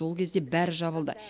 ол кезде бәрі жабылды